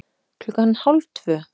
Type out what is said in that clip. Klukkan hálf tvö